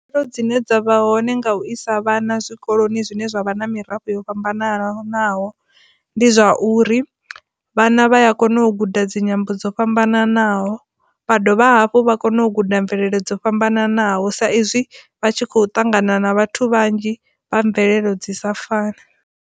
Khaedu dzine dza vha hone nga u isa vhana zwikoloni zwine zwa vha na mirafho yo fhambananaho ndi zwa uri vhana vha ya kone u guda dzi nyimbo dzo fhambananaho vha dovha hafhu vha kona u guda mvelelo dzo fhambananaho sa izwi vha tshi khou ṱangana na vhathu vhanzhi vha mvelelo dzi sa fani.